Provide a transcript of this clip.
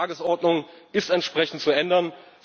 Die Tagesordnung ist entsprechend zu ändern.